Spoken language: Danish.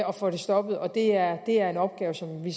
og får det stoppet og det er er en opgave som vi